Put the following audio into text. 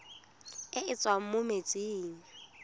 e e tswang mo metsing